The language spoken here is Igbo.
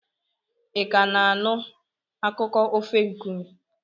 Ị ka na-anụ akụkọ ofe nkume?